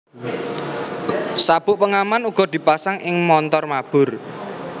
Sabuk pengaman uga dipasang ing montor mabur